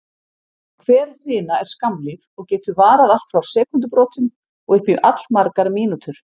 Hver hrina er skammlíf og getur varað allt frá sekúndubrotum og upp í allmargar mínútur.